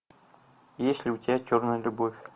есть ли у тебя черная любовь